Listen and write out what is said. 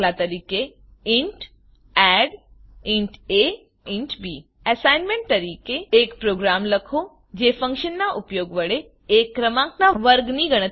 તint addઇન્ટ aઇન્ટ b assignment તરીકે એક પ્રોગ્રામ લખો જે ફંક્શનનાં ઉપયોગ વડે એક ક્રમાંકનાં વર્ગની ગણતરી કરે